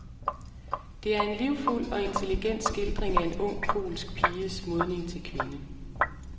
Det er en livfuld og intelligent skildring af en ung polsk piges modning til kvinde.